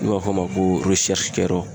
N'u b'a f'o ma ko kɛ yɔrɔ.